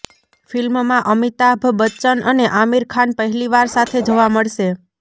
ફિલ્મમાં અમિતાભ બચ્ચન અને આમિર ખાન પહેલીવાર સાથે જોવા મળશે